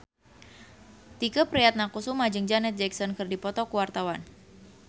Tike Priatnakusuma jeung Janet Jackson keur dipoto ku wartawan